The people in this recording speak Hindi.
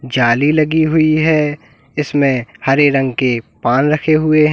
जाली लगी हुई है इसमें हरे रंग के पान रखे हुए हैं।